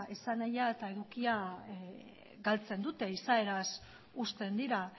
esanahia eta edukia galtzen dute izaeraz uzten dira